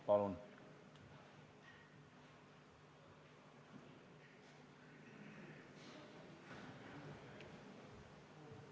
Palun!